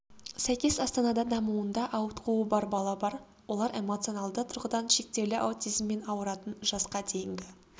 сәйкес астанада дамуында ауытқуы бар бала бар олар эмоционалды тұрғыдан шектеулі аутизммен ауыратын жасқа дейінгі